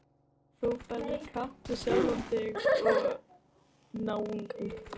Og þú ferð í kapp við sjálfan þig og náungann.